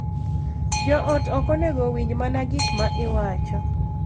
Jo ot ok onego owinj mana gik ma iwacho .